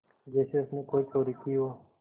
जैसे उसने कोई चोरी की हो